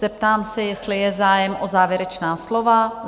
Zeptám se, jestli je zájem o závěrečná slova?